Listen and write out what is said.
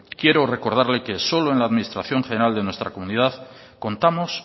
quiero recordarle que solo en la administración general de nuestra comunidad contamos